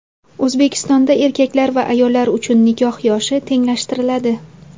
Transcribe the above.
O‘zbekistonda erkaklar va ayollar uchun nikoh yoshi tenglashtiriladi .